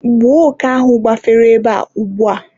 gbuo òké ahụ gbafere ebe a ugbua!